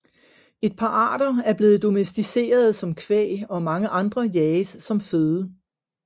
Et par arter er blevet domesticerede som kvæg og mange andre jages som føde